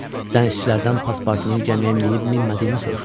Dənizçilərdən Paspartunun gəmiyə minib-minmədiyini soruşdular.